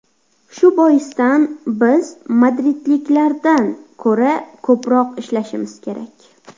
Shu boisdan biz madridliklardan ko‘ra ko‘proq ishlashimiz kerak.